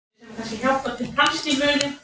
Hver er ástæðan fyrir árangri ykkar?